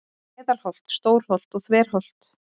Meðalholt, Stórholt og Þverholt.